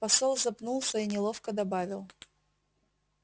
посол запнулся и неловко добавил